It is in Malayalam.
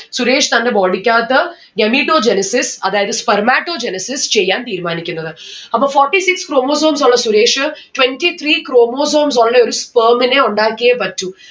സുരേഷ് തന്റെ body ക്കകത്ത് Gametogenesis അതായത് spermatogenesis ചെയ്യാൻ തീരുമാനിക്കുന്നത് അപ്പൊ forty six chromosomes ഉള്ള സുരേഷ് twenty three chromosomes ഉള്ള ഒരു sperm നെ ഉണ്ടാക്കിയെ പറ്റു